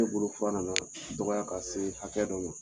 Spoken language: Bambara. Ne bolo fura na na dɔgɔya ka se hakɛ dɔ ma.